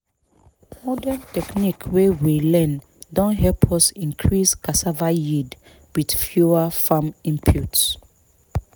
modern technique wey we learn don help us increase cassava yield with fewer farm inputs